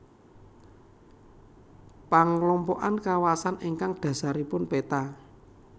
Panglompokan kawasan ingkang dhasaripun peta